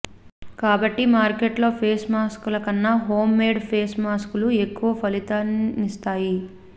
కాబట్టి మార్కెట్లో face mask లకన్నా హోం మేడ్ ఫేస్ మాస్క్ లు ఎక్కువ ఫలితాలనిస్తాయి